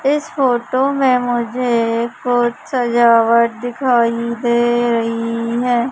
इस फोटो में मुझे एक और सजावट दिखाई दे रही है।